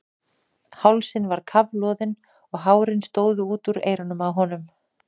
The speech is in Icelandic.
Hálsinn var kafloðinn og hárin stóðu út úr eyrunum á honum.